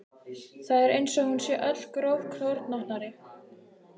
Það er eins og hún sé öll grófkornóttari.